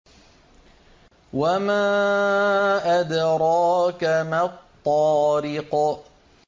وَمَا أَدْرَاكَ مَا الطَّارِقُ